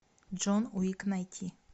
джон уик найти